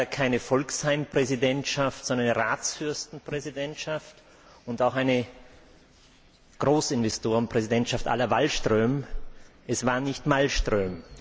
Es war leider keine Folksheim Präsidentschaft, sondern eine Ratsfürsten Präsidentschaft und auch eine Großinvestoren Präsidentschaft la Wallström, es war nicht Malmström.